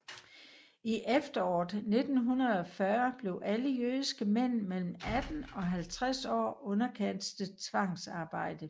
I efteråret 1940 blev alle jødiske mænd mellem 18 og 50 år underkastet tvangsarbejde